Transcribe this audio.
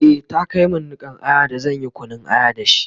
e ta Kai min Nikan Aya da zanyi Kunun aya da shi?